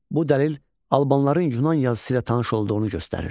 Bu dəlil Albanların Yunan yazısı ilə tanış olduğunu göstərir.